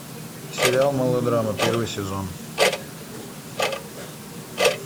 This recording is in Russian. сериал мылодрама первый сезон